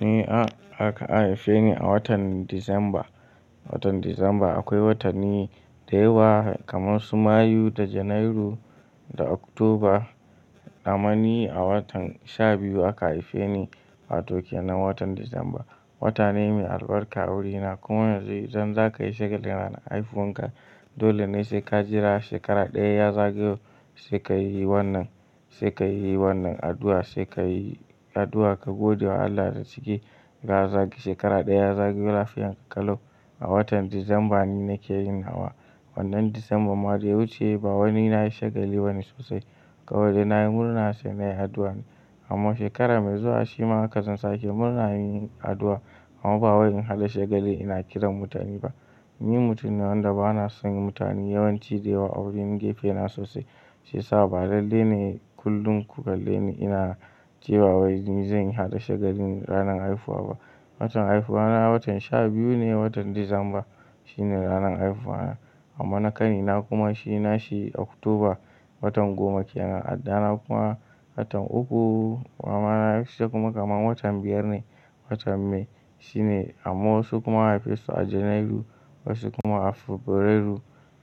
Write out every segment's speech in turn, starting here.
Ni a-aka haife ni a watan Disamba. Watan Disamba akwai watanni da yawa kamar su Mayu da Janairu da Oktoba. Amma ni a watan sha biyu aka haife ni wato kenan watan Disamba. Wata ne mai albarka a wuri na kuma yanzu idan za ka yi shekarar ranar haihuwan ka, dole ne sai ka jira shekara ɗaya ya zagayo sai ka yi wannan, sai ka yi wannan addu'a sai ka yi addu'a ka gode wa Allah da ciki ka zagaye shekara ɗaya zagayo lafiyar ka kalau. A watan Disamba ne nake yin hawa, wannan Disamba ma da ya wuce ba wani na yi shagali ba ne sosai. Kawai da na yi murna sai na yi addu'a ne. Amma shekara mai zuwa shi ma haka zan sake murna yin addu'a amma ba wai in haɗa shagali ina kiran mutane ba. Ni mutum ne wanda ba na son yin mutane yawanci da yawa a wurin gefe na sosai. Shi yasa ba lallai ne kullum ku kalle ni ina cewa wai ni zan yi haɗa shagali ranar haihuwa ba. Watan haihuwa na watan sha biyu ne, watan Disamba shine ranar haihuwa na amma na ƙani na kuma shi na shi Oktoba, watan goma kenan. Addana kuma watan uku. Mamana sai kuma kamar watan biyar ne, watan May shi ne amma wasu kuma haife su a Janairu wasu kuma a Fabrairu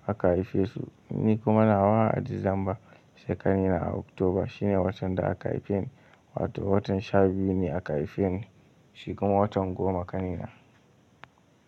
aka haife su. Ni kuma na nawa a Disamba sai ƙani na a Oktoba. Shine watan da aka haife ni wato watan sha biyu ne aka haife ni shi kuma watan goma ƙani na.